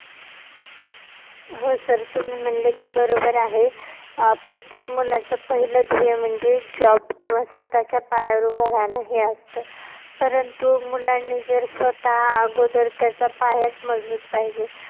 हो sir तुम्ही म्हणले ते बरोबर आहे प्रत्येक मुलाचं पहिलं ध्येय म्हणजे job किंवा स्वतःच्या पायावर उभं राहणं हे असतं, परंतु मुलांनी स्वतः अगोदर त्याचा पायाचं मजबूत पाहिजे.